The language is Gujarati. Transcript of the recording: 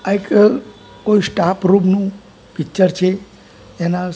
આ એક કોઈ સ્ટાફ રૂમ નુ પિક્ચર છે એના--